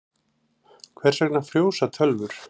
Hvers vegna frjósa tölvur?